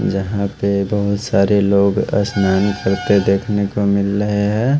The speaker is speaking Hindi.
यहाँ पर बहोत सारे लोग अस्नान करते देखने को मिल रहे हैं।